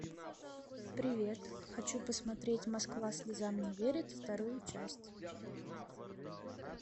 привет хочу посмотреть москва слезам не верит вторую часть